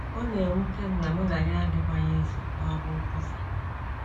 Ọ na - ewute m na mụ na ya adịkwaghị eso n’ọrụ nkwusa.